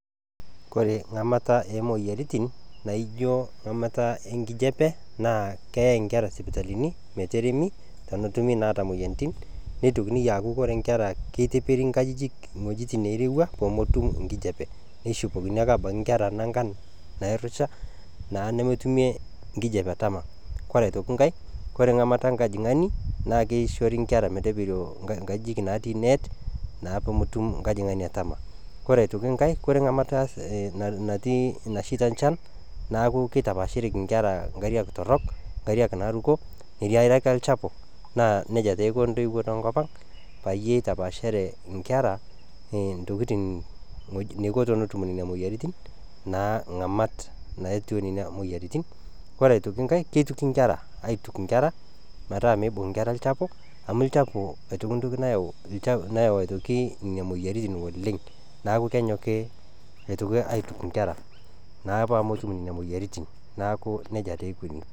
Kore ng'amata oo imoyiarritin naaijo ng'amata enkijepe naa keei inkerra sipitalini meteremi tenetumi naa imoyiarritin, neitikini aaku ore inkerra keperi nkajijik wejitin nairewua pemotum inkijepe, neishopokini ake abaki inkerra nang'an naaaroisha naa nemetumie inkijepe atama, kore aitoki inkae, kore ing'amata enkajing'ain naa keishori inkerra meteperio inkajijik natii neet naa peemotum inkajing'ani atama, kore aitoki inkae, kore ing'amata natii, naisheita inchan neaku keitapaashereki inkera inkarriak torok, imkarriak naaaruko, imkarriak elchapu naa neja taa eiko entoiwuo te nkopang peyie eitapaashare inkerra intokitin neiko tenetum nenia moyiaritin naa ng'amat naetionneni imoyiarritin, ore aitoki inkae keituki inkerra aituk inkerr metaa meibung' inkerra ilchapu amu ilchapu aitoki intoki nayau aitoki nenia imoyiaritin oleng, neaku kenyoki aitoki aiituk inkerra naa peemetum nenia imoyiarritin, neaku neja taa eikoni.